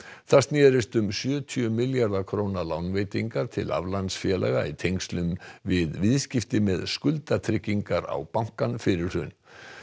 það snerist um sjötíu milljarða króna lánveitingar til aflandsfélaga í tengslum við viðskipti með skuldatryggingar á bankann fyrir hrun